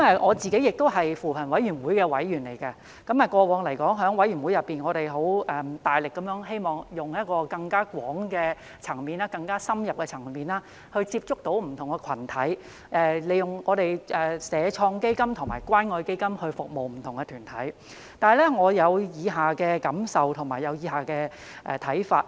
我是扶貧委員會的委員，過往在委員會內，我們大力地工作，希望以更廣、更深入的層面接觸不同群體，利用社會創新及創業發展基金和關愛基金來服務不同團體，可是，我有以下的感受和看法。